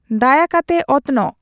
ᱫᱟᱭᱟᱠᱟᱛᱮ ᱚᱛᱱᱚᱜ